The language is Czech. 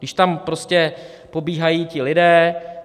Když tam prostě pobíhají ti lidé...